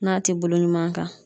N'a ti bolo ɲuman kan